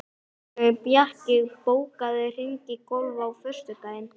Bjarki, bókaðu hring í golf á föstudaginn.